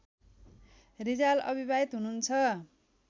रिजाल अविवाहित हुनुहुन्छ